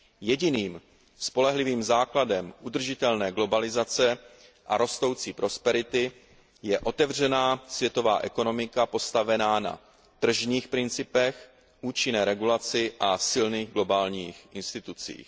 Jediným spolehlivým základem udržitelné globalizace a rostoucí prosperity je otevřená světová ekonomika postavená na tržních principech, účinné regulaci a silných globálních institucích.